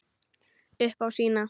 Upp á sína.